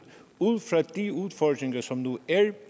ud fra de udfordringer som nu er